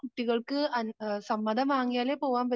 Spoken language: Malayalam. കുട്ടികൾക്ക് സമ്മതം വാങ്ങിയാലേ പോവാൻ